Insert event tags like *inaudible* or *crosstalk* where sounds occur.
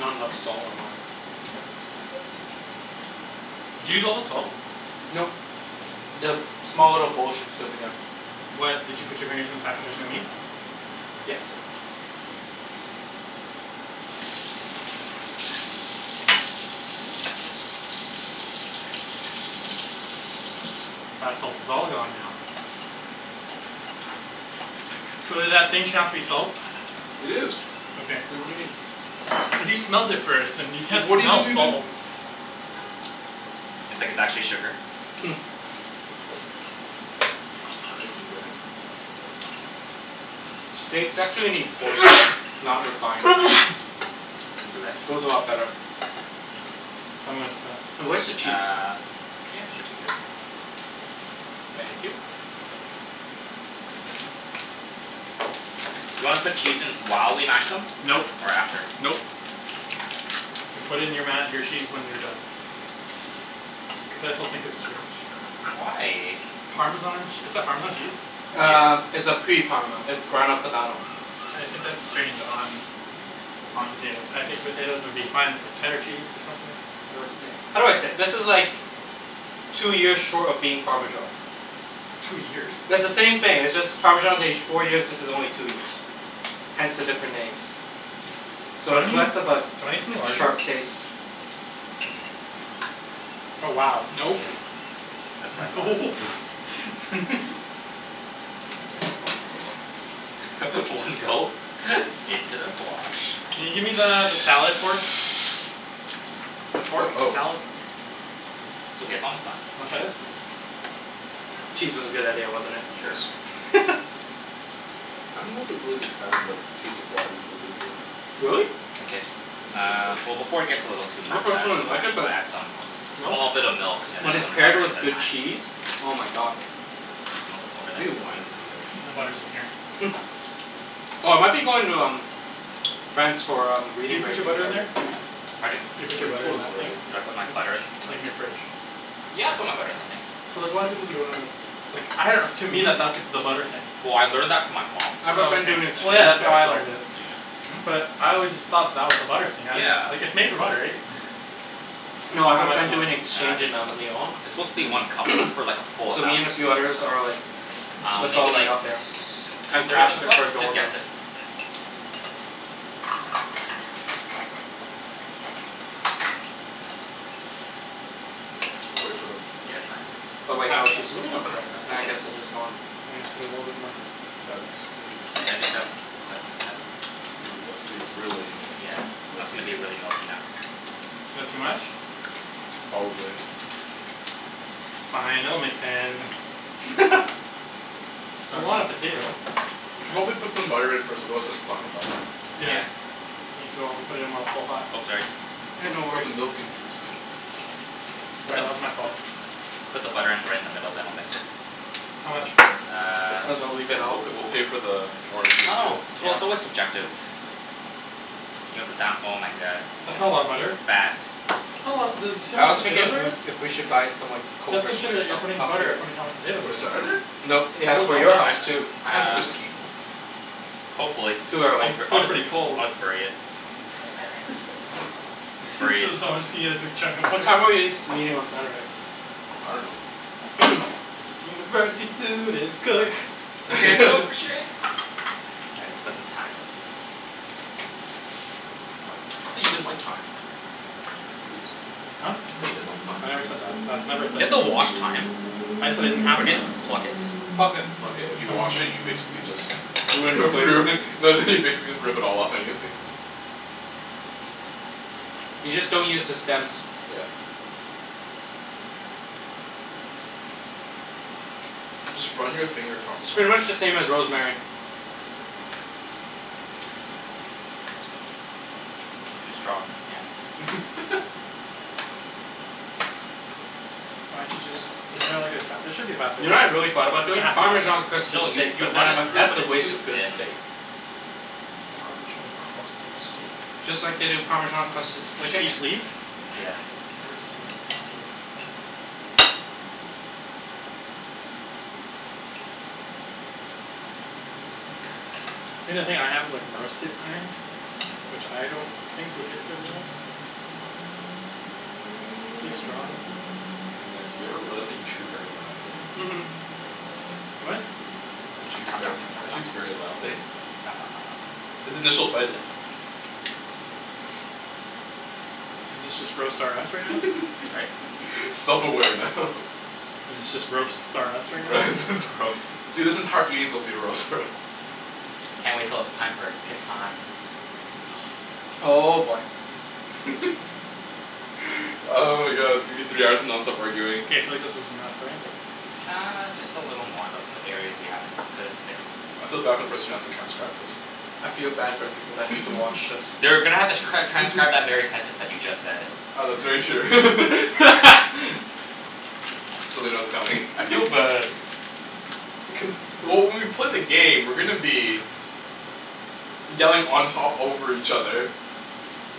Not enough salt. Did you use all the salt? Nope. The small little bowl should still be there. What? Did you put your fingers inside but there is no meat? Yes. *laughs* That salt is all gone now. So did that thing turn out to be salt? It is. Okay. Wait, what do you mean? *laughs* Because you smelled it first and you can't What do you smell think we've been salt. It's like it's actually sugar. *noise* Nice and red, like that. Steaks actually need coarse salt. Not refined. *noise* Bless you. Goes a lot better. I'm goin' stop. Now where's the cheese? Uh yeah should be good. Thank you. Do you wanna put cheese in while we mash them? Nope, Or after? nope. You put it in your ma- your cheese when you're done. Cuz I still think it's strange. Why? Parmesan ch- is that Parmesan cheese? Uh Yeah. it's a pre parma. It's Grana Padano I think that's strange on on potatoes. I think potatoes would be fine with like cheddar cheese or something. How do I say it? This is like Two years short of being Parmesan. Two years? It's the same thing. It's just Parmesan is aged four years, this is only two years. Hence the different names. Do So you it's wanna use less do of you a wanna use something larger? sharp taste. Oh wow Yeah. nope That's what I thought. Nope *noise* *laughs* *laughs* You need that. *noise* *laughs* One go into the fwosh. Can you gimme the the salad fork? The Fork? fork of a Oh. salad? It's okay, it's almost done. Wanna try this? Cheese was a good idea, wasn't it. Sure. Yes. *laughs* I'm not the really big fan of like taste of raw a- arugula. Really? No, K, not my favorite uh veg. well before it gets a little too *noise* ma- uh personally too like mashed it but we'll add some Nope. small bit of milk and then When it's some paired butter and with the good thyme. cheese. Oh my god. Where's the milk? Over there? We need wine for today. I think the butter's in here. *noise* Oh I might be going to um France for um Did you reading put break your in butter in there? February. Pardon? You I put think your you butter in told us that thing? already. Did I put my Mhm. butter in this thing? Like in your fridge. Yeah, I put my butter in the thing. So there's a lotta people who don't know that's like I dunno to me Mhm. that that's the butter thing. Well I learned that from my mom I have a Oh friend okay, doing well so *inaudible* yeah exchange that's how there I so learned it. *noise* Hmm? But I always just thought that was the butter thing. I didn't - - like Yeah. it's made for butter right? *laughs* *laughs* No I have How a much friend milk? doing Uh exchange just in uh um Lyon it's supposed to be one Mmm. cup but that's like for like a *noise* full So amount me and a few others so. are like Um "Let's all maybe meet like t- up there two and thirds crash of a he- cup? her Just dorm guess room." it. We'll wait for them. Yeah, it's fine. Oh It's wait no half a cup. she's living on Half a *noise* rez. cup? Uh I Okay. guess it is dorm. Why don't you put a little bit more? That's are you supposed I I to? think that's quite *noise* Ooh, that's gonna be really Yeah, that's gonna milky. be really milky now. That too much? Probably. It's fine. It'll mix in. *laughs* It's a lot of *noise* potato We should probably put some butter in first otherwise it's not gonna melt. Yeah Yeah. Need to o- put it in while it's still hot. Oh sorry. Yeah, Why'd no you pour the worries. milk in first? Sorry, that was my fault. Put the butter in right in the middle then I'll mix it. How much? Uh. Might as well leave it We'll out. p- we'll pay for the I orange juice dunno. too. It's real- Yeah. it's always subjective. You're gonna put down oh my god. That's It's not a lot of gonna butter. fat That's not a lotta dude you see how I much was thinking potatoes of there is? *noise* if we should buy some like Let's coke or sh- consider that stuff you're putting up here. butter according to how much potato For there is. Saturday? No yeah Will it for melt? your I house d- too. I have uh whiskey. Hopefully Too I'll Cuz early. b- it's I'll, still pretty cold. I'll just bury it. *laughs* Bury it. So someone's just gonna get a big chunk of What butter? time are we s- meeting on Saturday? I dunno. *noise* University students cook. Can't cook for *laughs* shit. All right let's put some thyme in. I thought you didn't like thyme. Ibs. Huh? Thought you didn't like thyme. I never said that. That's Do never a thing. you have to wash thyme? I just said I didn't have Or do you thyme. just pluck it? Pluck it. Pluck it. If you wash it you basically just *laughs* Ruin the flavor. ruin no no you basically just rip it all off anyways. You just don't use the stems. Yeah. Just run your finger across the It's pretty thyme. much the same as rosemary. Too strong. Can't. *laughs* Why didn't you just isn't there like a fa- there should be a faster You way to know do what I really this. thought about There doing? has to be a faster Parmesan way to crusted No do this. you steak. you But then run I'm it like, through that's but a it's waste too of good thin. steak. Parmesan crusted steak? Just like they do Parmesan crusted Like chicken. each leaf? Yeah. I've never seen it though. Think the thing I have is like roasted thyme Which I don't think would taste better than this. It's really strong. Matt, do you ever realize that you chew very loudly? Mhm. What? Matt chews ver- Matt chews very loudly *laughs* *noise* His initial bite i- *noise* Is this just roast R us right now? Sorry? *laughs* Self aware now. Is it just roasts R us *noise* right now? R- *laughs* roast dude this entire evening's supposed to be roast R us. Can't wait till it's time for Catan. Oh boy. *laughs* *noise* Oh my god it's gonna be three hours of nonstop arguing. K, I feel like this is enough, right? Uh just a little more they'll put areas we haven't cuz it sticks. I feel bad for the person who has to transcribe this. I feel bad for the people that have to watch *laughs* this. They're gonna have to cr- transcribe that very sentence that you just said. Oh that's very true. *laughs* *laughs* So they know it's coming. *laughs* I feel bad. Cuz well when we play the game we're gonna be Yelling on top over each other.